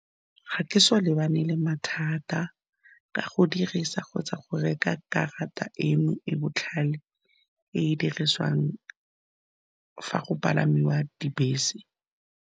Ga ke eso lebagane le mathata ka go dirisa kgotsa go reka karata eno e e botlhale e e dirisiwang fa go palamiwa dibese